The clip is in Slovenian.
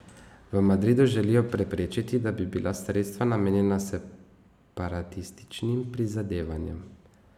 V Madridu želijo preprečiti, da bi bila sredstva namenjena separatističnim prizadevanjem.